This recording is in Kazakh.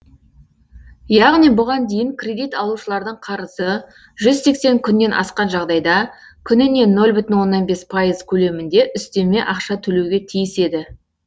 яғни бұған дейін кредит алушылардың қарызы жүз сексен күннен асқан жағдайда күніне нөл бүтін оннан бес пайыз көлемінде үстеме ақша төлеуге тиіс еді